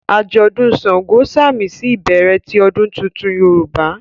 ajọdun ṣàngó samisi ibẹrẹ ti odun títún Yorúbá